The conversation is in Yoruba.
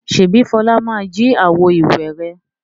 Ṣèbí Fọlá ma jí àwo-ìwẹ̀ rẹ̀?